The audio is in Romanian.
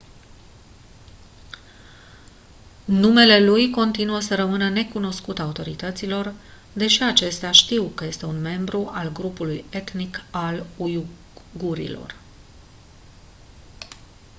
numele lui continuă să rămână necunoscut autorităților deși acestea știu că este un membru al grupului etnic al uigurilor